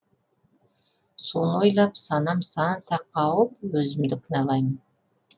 соны ойлап санам сан саққа ауып өзімді кінәлаймын